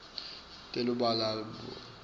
telubalobalo